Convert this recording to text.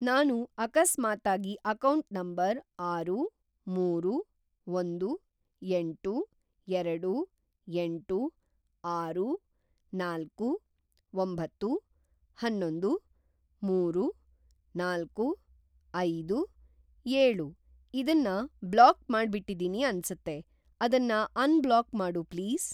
ನಾನು ಅಕಸ್ಮಾತಾಗಿ account number ಆರು, ಮೂರು, ಒಂದು, ಎಂಟು, ಎರಡು, ಎಂಟು, ಆರು, ನಾಲ್ಕು, ಒಂಬತ್ತು, ಅನ್ನೊಂದು, ಮೂರು, ನಾಲ್ಕು, ಐದು, ಏಳು ಇದನ್ನ ಬ್ಲಾಕ್‌ ಮಾಡ್ಬಿಟ್ಟಿದೀನಿ ಅನ್ಸತ್ತೆ, ಅದನ್ನ ಅನ್‌ಬ್ಲಾಕ್‌ ಮಾಡು ಪ್ಲೀಸ್.